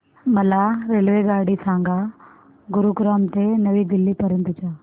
मला रेल्वेगाडी सांगा गुरुग्राम ते नवी दिल्ली पर्यंत च्या